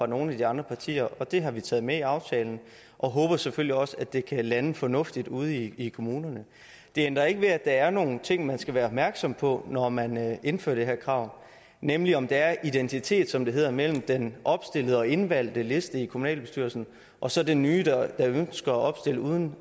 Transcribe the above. nogle af de andre partier og det har vi taget med i aftalen og håber selvfølgelig også at det kan lande fornuftigt ude i i kommunerne det ændrer ikke ved at der er nogle ting man skal være opmærksom på når man indfører det her krav nemlig om der er identitet som det hedder imellem den opstillede og indvalgte liste i kommunalbestyrelsen og så den nye der ønsker at opstille uden